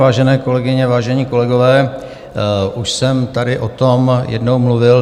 Vážené kolegyně, vážení kolegové, už jsem tady o tom jednou mluvil.